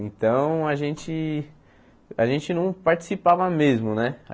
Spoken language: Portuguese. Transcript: Então, a gente a gente não participava mesmo, né?